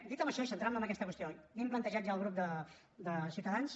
dit això i centrant me en aquesta qüestió li hem plantejat ja al grup de ciutadans